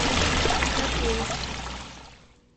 копейск